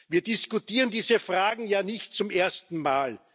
Wir diskutieren diese Fragen ja nicht zum ersten Mal.